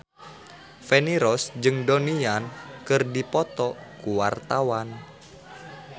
Feni Rose jeung Donnie Yan keur dipoto ku wartawan